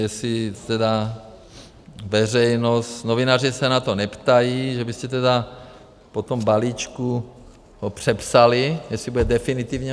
Jestli tedy veřejnost, novináři se na to neptají, že byste tedy po tom balíčku ho přepsali, jestli bude definitivní.